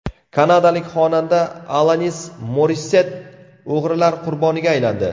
Kanadalik xonanda Alanis Morissett o‘g‘rilar qurboniga aylandi.